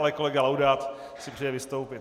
Ale kolega Laudát si přeje vystoupit.